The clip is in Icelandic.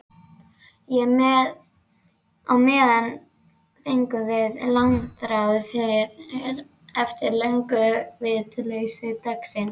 Á meðan fengum við langþráðan frið eftir lönguvitleysu dagsins.